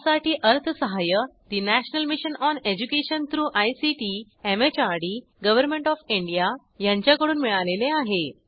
यासाठी अर्थसहाय्य national mission on education through ICT MHRD government of India यांच्याकडून मिळालेले आहे